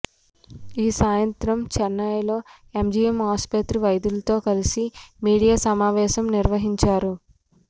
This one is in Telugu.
ఈ సాయంత్రం చెన్నైలో ఎంజీఎం ఆసుపత్రి వైద్యులతో కలిసి మీడియా సమావేశం నిర్వహించారు